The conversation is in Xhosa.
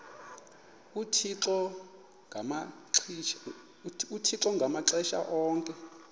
uthixo ngamaxesha onke